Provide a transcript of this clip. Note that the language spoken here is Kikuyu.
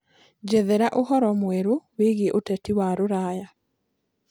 njethera ũhoro mwerũ wiĩgie uteti wa ruraya